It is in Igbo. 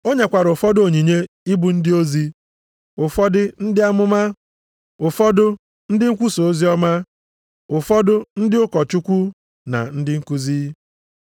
O nyekwara ụfọdụ onyinye ị bụ ndị ozi, ụfọdụ ndị amụma, ụfọdụ ndị nkwusa oziọma, ụfọdụ ndị ụkọchukwu na ndị nkuzi.